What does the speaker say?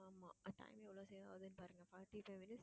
ஆமா time எவ்ளோ save ஆகுதுனு பாருங்க forty-five minutes